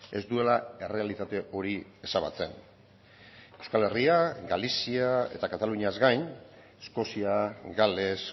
ez duela errealitate hori ezabatzen euskal herria galizia eta kataluniaz gain eskozia gales